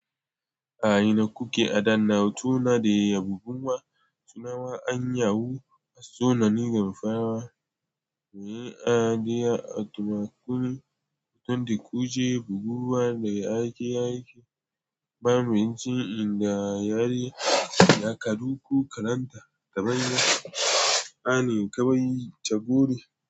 A ina kuke a danna hotuna da ya bubbuwa? Sunan wa'an Yahoo a sanannin damfara. Mai adadi a tumakullu, hoton da kuke buguwa da ya ake yake. Bamu jin inda ya riye, laka ko karanta ta banza. A ne kawai ta guri.